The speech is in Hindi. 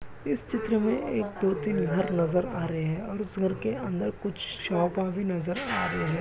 इस चित्र में एक दो तीन घर नजर आ रहे हैं और इस घर के अंदर कुछ शॉप भी नजर आ रहे हैं।